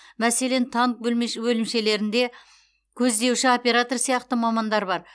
мәселен танк бөлмеш бөлімшелерінде көздеуші оператор сияқты мамандар бар